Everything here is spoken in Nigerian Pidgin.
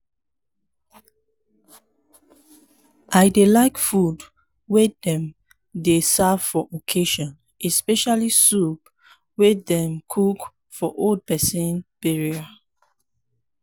i dey like food wey dem dey serve for occassion especially soup wey dem cook for old person burial